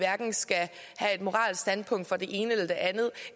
skal have et moralsk standpunkt for det ene eller det andet